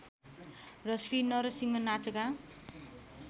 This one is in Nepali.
र श्री नरसिंह नाचका